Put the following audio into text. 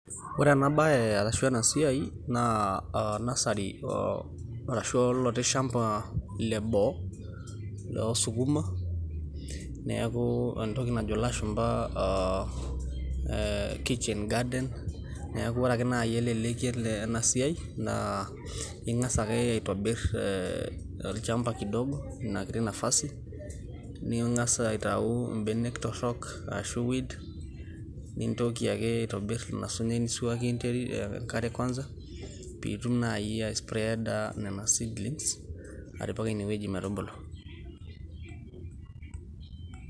ore ena bae arashu ena siai naa nursery, arashu oloti shampa le boo, loo sukuma, neeku entoki najo lashumpa, aa kitchen garden, neeku ore ake naaaji eleleki ele ena siai naa ing'as ake aiitobir olchampa kidogo, inakiti nafasi ,ning'as aitau ibenek torok, aashu weed, nintoki ake aitobir ilo sinyai nisuaaki enterit enkare kwanza pee itum naaji aispreeda nena seedlings apik ine wueji metubulu.